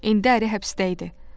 İndi əri həbsdə idi.